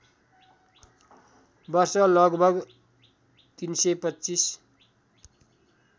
वर्ष लगभग ३२५